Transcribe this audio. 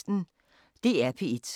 DR P1